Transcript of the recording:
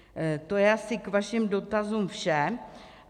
To je asi k vašim dotazům vše.